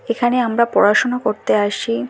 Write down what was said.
এখানে আমরা পড়াশুনা করতে আসি।